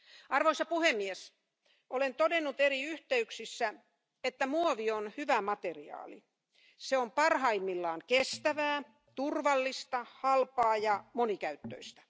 Arvoisa puhemies, olen todennut eri yhteyksissä, että muovi on hyvä materiaali se on parhaimmillaan kestävää, turvallista, halpaa ja monikäyttöistä.